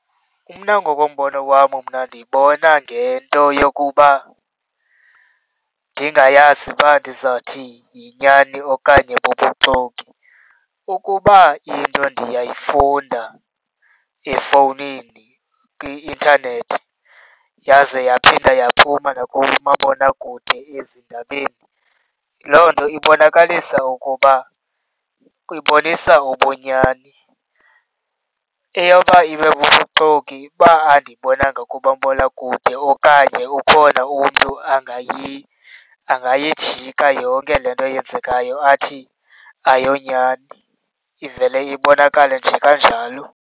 Mna ngokombono wam mna ndiyibona ngento yokuba ndingayazi uba ndizawuthi yinyani okanye bubuxoki. Ukuba into ndiyayifunda efowunini kwi-intanethi, yaze yaphinda yaphuma nakumabonakude ezindabeni, loo nto ibonakalisa ukuba ibonisa ubunyani. Eyoba ibe bubuxoki uba andiyibonanga kumabonakude okanye ukhona umntu angayijika yonke le nto eyenzekayo athi ayiyonyani, ivele ibonakale nje kanjalo.